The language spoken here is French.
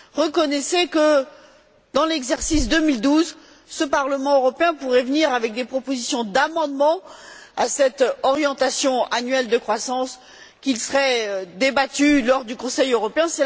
Reconnaissez que, dans l'exercice 2012, ce Parlement européen pourrait faire des propositions d'amendements à cette orientation annuelle de croissance, qui seraient débattues lors du Conseil européen.